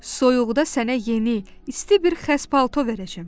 Soyuqda sənə yeni, isti bir xəz palto verəcəm.